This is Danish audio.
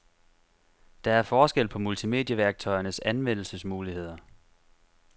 Der er forskel på multimedieværktøjernes anvendelsesmuligheder.